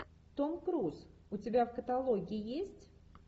том круз у тебя в каталоге есть